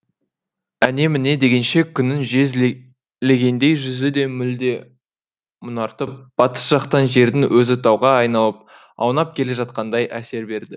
әне міне дегенше күннің жез легендей жүзі де мүлде мұнартып батыс жақтан жердің өзі тауға айналып аунап келе жатқандай әсер берді